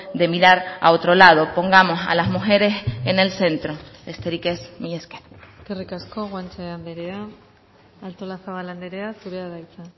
de mirar a otro lado pongamos a las mujeres en el centro besterik ez mila esker eskerrik asko guanche andrea artolazabal andrea zurea da hitza